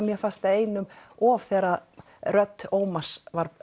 mér fannst það einum of þegar rödd Ómars